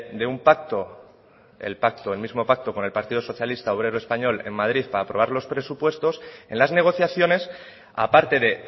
de un pacto el pacto el mismo pacto con el partido socialista obrero español en madrid para aprobar los presupuestos en las negociaciones aparte de